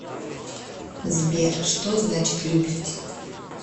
сбер что значит любить